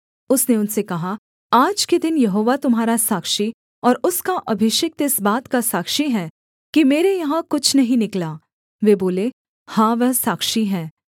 उसने उनसे कहा आज के दिन यहोवा तुम्हारा साक्षी और उसका अभिषिक्त इस बात का साक्षी है कि मेरे यहाँ कुछ नहीं निकला वे बोले हाँ वह साक्षी है